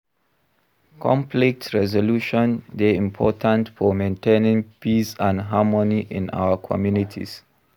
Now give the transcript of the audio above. Conflict resolution dey important for maintaining peace and harmony in our communities.